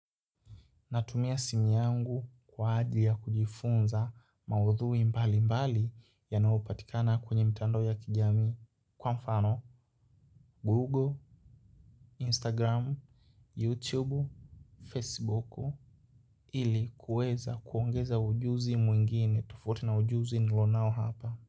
Natumia simu yangu kwa ajili ya kujifunza maudhui mbali mbali yanayopatikana kwenye mtandao ya kijamii. Kwa mfano, Google, Instagram, YouTube, Facebook, ili kuweza kuongeza ujuzi mwingine tofauti na ujuzi nilionao hapa.